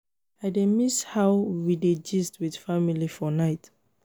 i dey miss how we dey gist with family for night